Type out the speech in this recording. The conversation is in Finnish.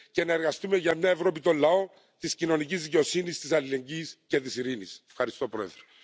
Euroopan unioni voi toimia vain silloin kun kaikki noudattavat yhteisiä arvoja, sitoumuksia, jotka on tehty.